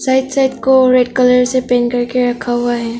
Side side को red colour से paint करके रखा हुआ है।